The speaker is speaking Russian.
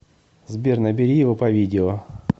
сбер набери его по видео